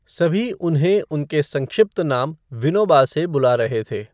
सभी उन्हें उनके संक्षिप्त नाम विनोबा से बुला रहे थे।